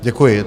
Děkuji.